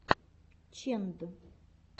ченд